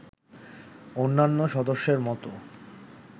অন্যান্য সদস্যের মতো